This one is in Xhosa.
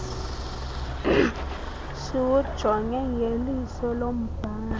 siwujonge ngelisa lombhali